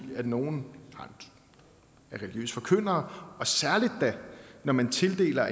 at nogle er religiøse forkyndere og særlig da når man tildeler